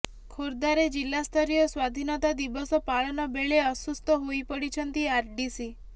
ଖୋର୍ଦ୍ଧାରେ ଜିଲ୍ଲାସ୍ତରୀୟ ସ୍ୱାଧୀନତା ଦିବସ ପାଳନ ବେଳେ ଅସୁସ୍ଥ ହୋଇପଡିଛନ୍ତି ଆରଡିସି